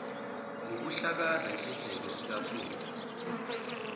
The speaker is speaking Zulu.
ngokuhlakaza isidleke sikaphumla